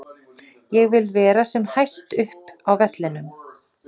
Ég vil vera sem hæst upp á vellinum.